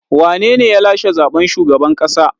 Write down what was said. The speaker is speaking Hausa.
Wane ne ya lashe zaɓen shugaban ƙasa?